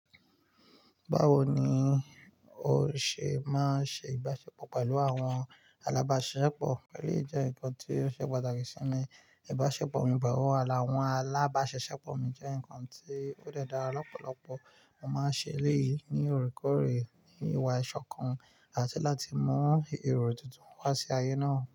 Báwo ni ó ṣe máa ń ṣe ìbáṣepọ̀ pẹ̀lú àwọn alábá-ṣisepọ̀? Èyí jẹ́ nǹkan tí ó ṣe pàtàkì sí mi. Ìbáṣepọ̀ mi pẹ̀lú àwọn alábá-ṣisepọ̀ mi jẹ́ nǹkan tí ó de dára lọ́pọ̀lọpọ̀. Mo máa ń ṣe èleyí ní òrékòóré, ní ìwà ìṣọ̀kan àti láti mú èrò tuntun wá sí ayé náà.